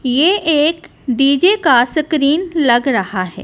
ये एक डीजे का सकरीन लग रहा है।